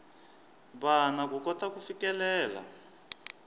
vana ku kota ku fikelela